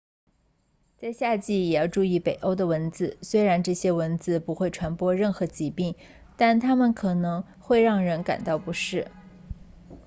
在夏季也要注意北欧的蚊子虽然这些蚊子不会传播任何疾病但它们可能会让人感到不适